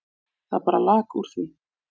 Það bara lak úr því.